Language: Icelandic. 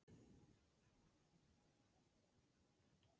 Jóhanna Margrét Gísladóttir: Hvernig datt ykkur í hug að hafa opið á jóladag?